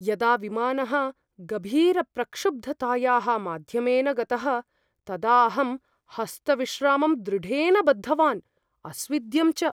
यदा विमानः गभीरप्रक्षुब्धतायाः माध्यमेन गतः तदा अहं हस्तविश्रामं दृढेन बद्धवान्, अस्विद्यं च।